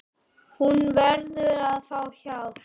Hún verður að fá hjálp.